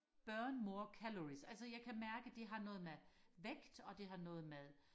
burn more calories altså jeg kan mærke det har noget med vægt og det har noget med